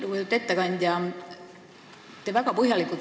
Lugupeetud ettekandja!